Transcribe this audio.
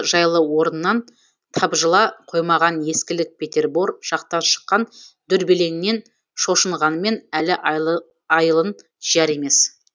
жайлы орнынан тапжыла қоймаған ескілік петербор жақтан шыққан дүрбелеңнен шошынғанымен әлі айылын жияр емес